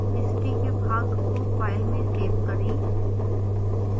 history के भाग को फाइल में सेव करें